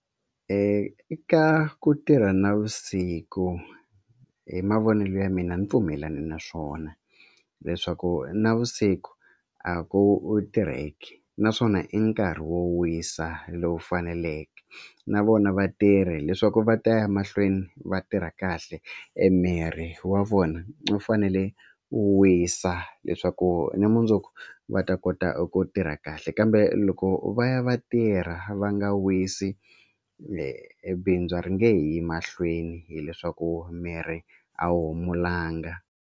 Eka ku tirha navusiku hi mavonelo ya mina a ni pfumelana na swona leswaku navusiku a ku u tirheke naswona i nkarhi wo wisa lowu faneleke na vona vatirhi leswaku va ta ya mahlweni va tirha kahle e miri wa vona u fanele u wisa leswaku ni mundzuku va ta kota ku tirha kahle kambe loko va ya va tirha va nga wisi bindzu ri nge yi mahlweni hileswaku miri a wu humulanga.